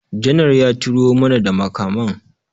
Janar ya turo mana da makaman